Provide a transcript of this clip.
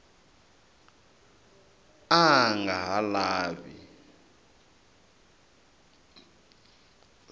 a a nga ha lavi